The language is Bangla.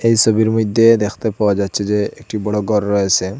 এই ছবির মইধ্যে দেখতে পাওয়া যাচ্ছে যে একটি বড়ো গর রয়েসে ।